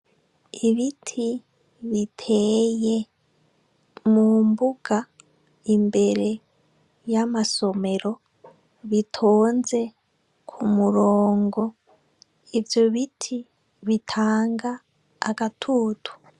Ibiti biteye mu mbuga imbere y’amasomero bitonze k'umurongo, ivyo biti bitanga agatutu.